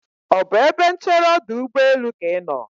ọ bụ ebe nchere ọdụ ụgbọelụ ka ị nọ?